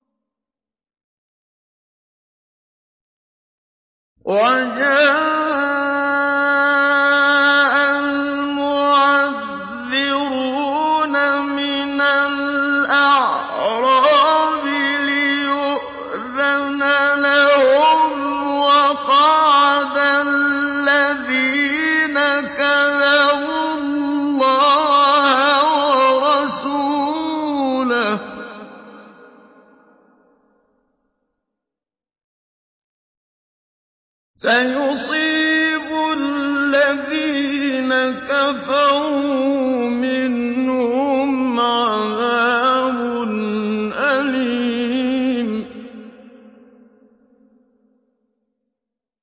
وَجَاءَ الْمُعَذِّرُونَ مِنَ الْأَعْرَابِ لِيُؤْذَنَ لَهُمْ وَقَعَدَ الَّذِينَ كَذَبُوا اللَّهَ وَرَسُولَهُ ۚ سَيُصِيبُ الَّذِينَ كَفَرُوا مِنْهُمْ عَذَابٌ أَلِيمٌ